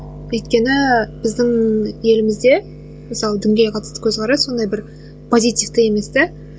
өйткені біздің елімізде мысалы дінге қатысты көзқарас ондай бір позитивті емес те